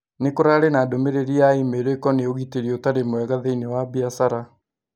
Nĩ kũrarĩ na ndũmĩrĩri ya i-mīrū ĩkoniĩ ũgitĩri ũtarĩ mwega thĩinĩ wa biacara